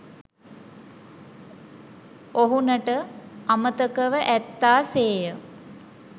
ඔවුනට අමතකව ඇත්තා සේ ය.